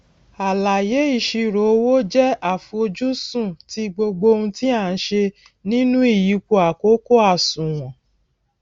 àlàyé ìṣirò owó jẹ àfojúsùn ti gbogbo ohun tí a n se nínú ìyípo àkókò àsùnwòn